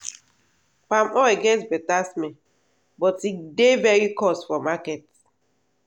palm oil get better smell but e dey very cost for market.